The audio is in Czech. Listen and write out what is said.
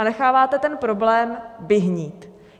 A necháváte ten problém vyhnít.